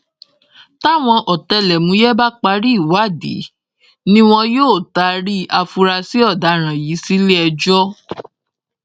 táwọn ọ̀tẹlọ̀múyẹ́ bá parí ìwádìí ni wọn yóò taari àfúráṣí ọdaràn yìí sílé ẹjọ́